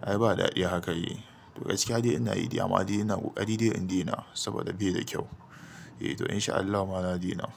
ai ba daɗi haka yi to gaskiya dai ina yi amma ina ƙoƙari dai in dena saboda bai da kyau. Eh to in sha Allah mana dena.